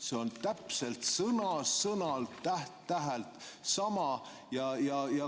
" See on sõna-sõnalt, täht-tähelt sama.